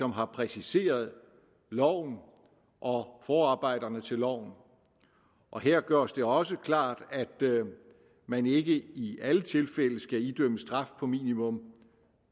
har præciseret loven og forarbejderne til loven og her gøres det også klart at man ikke i i alle tilfælde skal idømmes straf på minimum